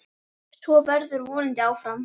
Svo verður vonandi áfram.